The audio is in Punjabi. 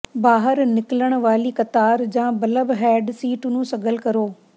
ਬਾਹਰ ਨਿਕਲਣ ਵਾਲੀ ਕਤਾਰ ਜਾਂ ਬੱਲਬਹੈਡ ਸੀਟ ਨੂੰ ਸਗਲ ਕਰੋ